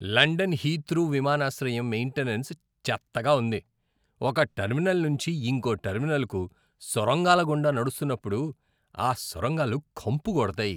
London Heathrow విమానాశ్రయం maintenance చెత్తగా ఉంది. ఒక టెర్మినల్ నుంచి ఇంకో టెర్మినల్కు సొరంగాల గుండా నడుస్తున్నప్పుడు, ఆ సొరంగాలు కంపు కొడతాయి.